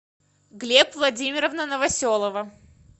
глеб владимировна новоселова